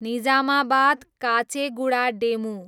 Nizamabad, Kacheguda DEMU